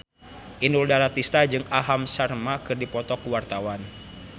Inul Daratista jeung Aham Sharma keur dipoto ku wartawan